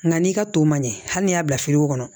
Nka n'i ka to man ɲɛ hali n'i y'a bila kɔnɔ